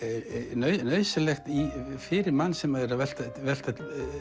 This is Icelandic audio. nauðsynlegar fyrir mann sem er að velta velta